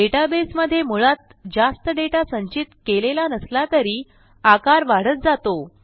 डेटाबेसमधे मुळात जास्त डेटा संचित केलेला नसला तरी आकार वाढत जातो